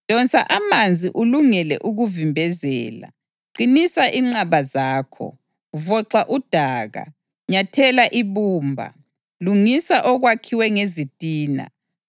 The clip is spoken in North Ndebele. Donsa amanzi ulungele ukuvimbezela, qinisa inqaba zakho. Voxa udaka, nyathela ibumba, lungisa okwakhiwe ngezitina.